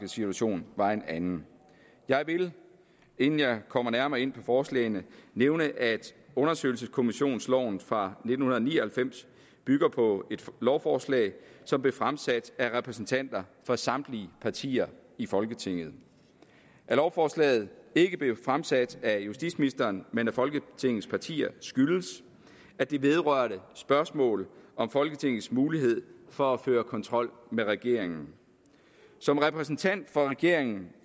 situation var en anden jeg vil inden jeg kommer nærmere ind på forslagene nævne at undersøgelseskommissionsloven fra nitten ni og halvfems bygger på et lovforslag som blev fremsat af repræsentanter fra samtlige partier i folketinget at lovforslaget ikke blev fremsat af justitsministeren men af folketingets partier skyldes at det vedrører spørgsmål om folketingets mulighed for at føre kontrol med regeringen som repræsentant for regeringen